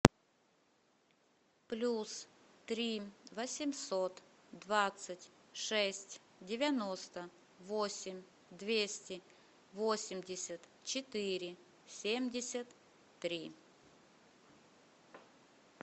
плюс три восемьсот двадцать шесть девяносто восемь двести восемьдесят четыре семьдесят три